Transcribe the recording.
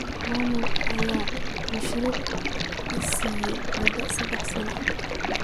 Maamulka ayaa mashruucan siisay mudoo saddex sano ah.